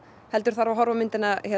heldur þarf að horfa á myndina